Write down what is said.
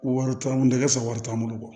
Wari t'an bolo i ka sɔrɔ wari t'an bolo